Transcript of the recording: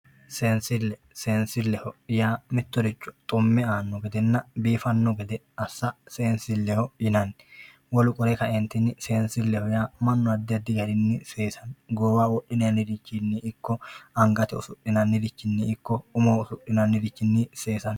Seensille seensilleho yaa mittoricho xumme aanno gedenna biifanno gede assa seensilleho yinanni wolu qole ka"entinni mannu addi addi garinni seesate goowaho wodhinannirinni angate usudhinannirinninna addi addi garinni seesate